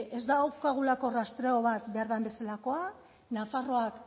ez daukagulako rastreo bat behar den bezalakoa nafarroak